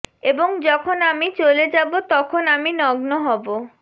এবং যখন আমি চলে যাব তখন আমি নগ্ন হব